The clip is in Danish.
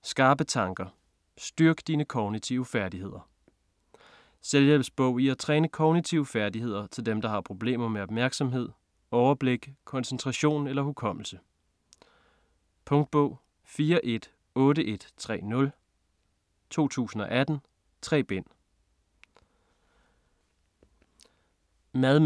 Skarpe tanker: styrk dine kognitive færdigheder Selvhjælpsbog i at træne kognitive færdigheder til dem der har problemer med opmærksomhed, overblik, koncentration eller hukommelse. Punktbog 418130 2018. 3 bind.